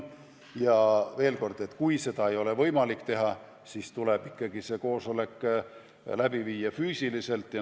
Aga veel kord: kui seda ei ole võimalik teha, siis tuleb ikkagi koosolek läbi viia füüsiliselt.